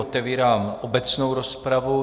Otevírám obecnou rozpravu.